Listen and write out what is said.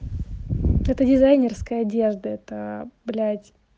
это дизайнерская одежда это блять